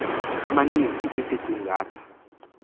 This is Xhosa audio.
amaninzi isiqi ngatha